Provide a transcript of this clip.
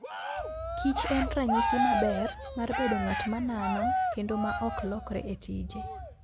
kich en ranyisi maber mar bedo ng'at ma nano kendo ma ok lokre e tije.